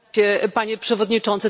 Panie Przewodniczący!